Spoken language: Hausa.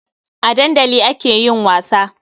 A dandali ake yin wasa.